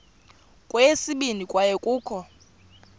kweyesibini kwaye kukho